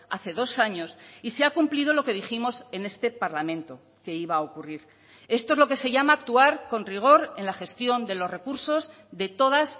hace dos años y se ha cumplido lo que dijimos en este parlamento que iba a ocurrir esto es lo que se llama actuar con rigor en la gestión de los recursos de todas